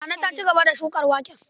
Nana ta ci gaba da shukar waken.